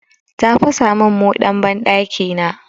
Ta fasa min moɗan banɗakina.